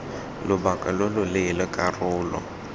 lobaka lo lo leele karolo